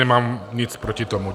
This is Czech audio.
Nemám nic proti tomu.